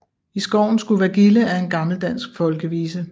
I skoven skulle være gilde er en gammel dansk folkevise